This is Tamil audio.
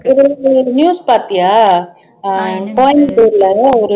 நியூஸ் பாத்தியா அஹ் கோயம்புத்தூர்ல